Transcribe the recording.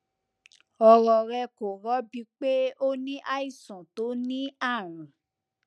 ọrọ rẹ kò rọbí pe o ní àìsàn tó ní àrùn